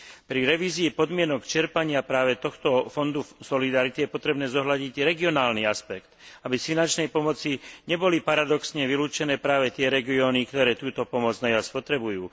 Pri revízii podmienok čerpania práve tohto fondu solidarity je potrebné zohľadniť i regionálny aspekt, aby z finančnej pomoci neboli paradoxne vylúčené práve tie regióny, ktoré túto pomoc najviac potrebujú.